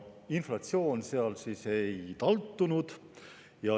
Inflatsioon seal ei taltunud.